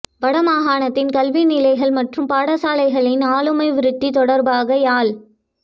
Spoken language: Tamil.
வட மாகாணத்தின் கல்வி நிலைகள் மற்றும் பாடசாலைகளின் ஆளுமை விருத்தி தொடர்பாக யாழ்